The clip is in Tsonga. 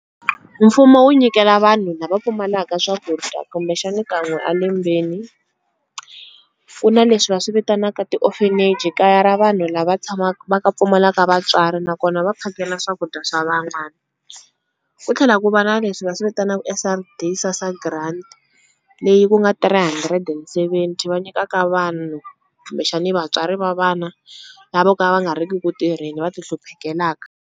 Mfumo wu nyikela vanhu lava pfumalaka swakudya kumbexani kan'we a lembeni. Ku na leswi va swi vitanaka ti-orphanage kaya ra vanhu lava tshamaku va ka pfumalaka vatswari nakona va phakela swakudya swa van'wani. Ku tlhela ku va na leswi va swivitanaka S_R_D SASSA grant leyi ku nga three hundred and seventy va nyikaka vanhu kumbexani vatswari va vana lava vo ka va nga ri ki ku tirheni va ti hluphekalaka.